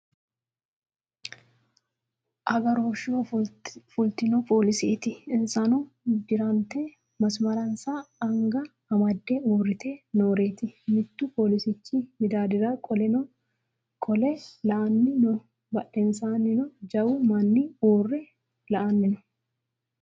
Aggaroshsheho fulitino policetti. insano dirannitte masaranissa anigga amade uuritte nooreti. mittu policichchi middadira qole la'anni noo badhennisanino jawwu manni uure la'aninno